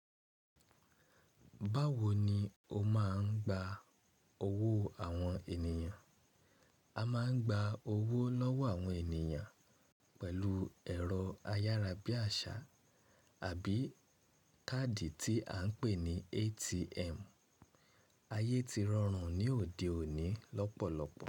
Báwo ni o máa ń gba owó àwọn ènìyàn? A máa ń gba owó lọ́wọ́ àwọn ènìyàn pẹ̀lú ẹ̀rọ ayárabíàṣá àbí káàdì tí à ń pè ní ATM. Ayé ti rọrùn ní òde òní lọ́pọ̀lọpọ̀.